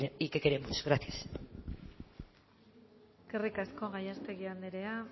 y que queremos gracias eskerrik asko gallástegui anderea